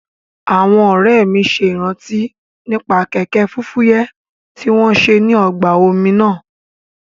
Àwọn ọ̀rẹ́ mi ṣe ìrántí nípa kẹ̀kẹ́ fúfúyẹ́ tí wọ́n ṣe ní ọgbà omi náà